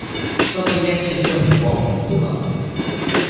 чтобы легче всё вспомнить было